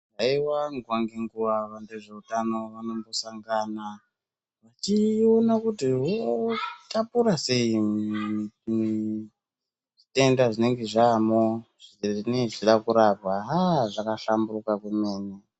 Haiwa nguwa ngenguwa vezveutano vanongosangana vechiona kuti votapura sei zvitenda zvinenge zvaamo zvinenge zvichida kurapwa haa zvakahlamburuka havo.